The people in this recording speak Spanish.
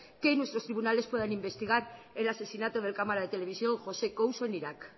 que nuestra tribunales puedan investigar el asesinato del cámara te televisión josé couso en iraq